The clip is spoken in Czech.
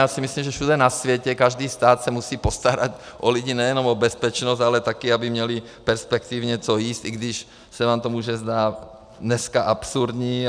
Já si myslím, že všude na světě, každý stát se musí postarat o lidi, nejenom o bezpečnost, ale také aby měli perspektivně co jíst, i když se vám to může zdát dneska absurdní.